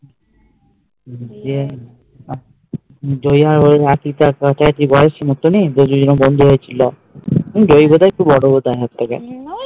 বন্ধ হয়ে ছিল ঐভাবে তো বড়ো